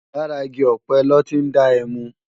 Làrá igi òpé lò ti n dá èmú